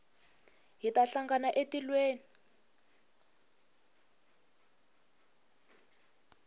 hi ta hlangana etilweni